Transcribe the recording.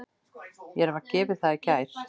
Mér var gefið það í gær.